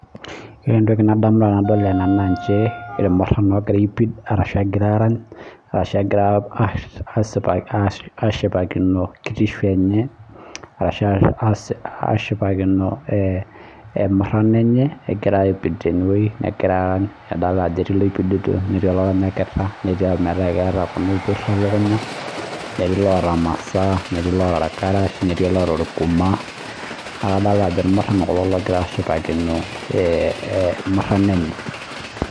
Ore entoki nadamu tenadol ena naa nchere irmurran ogira aaipid ashu egira arany, ashu egira ashipakino kitishu enye ashu ashipakino emurrano enye egira aipid tenewuei negira arany kidol ajo etii ilopidita netii iloranyita netii ometaa iloota kuna opirr oo lukuny netii iloota imasaa, netii iloota irkarash, netii oloota orkuma, nadol naa ajo irmurran kulo ogira aashipakino murrano enye